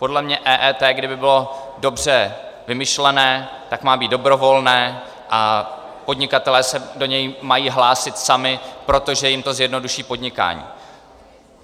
Podle mě EET, kdyby bylo dobře vymyšlené, tak má být dobrovolné a podnikatelé se do něj mají hlásit sami, protože jim to zjednoduší podnikání.